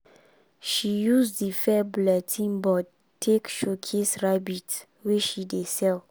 she use di fair bulletin board take showcase rabbit wey she dey sell.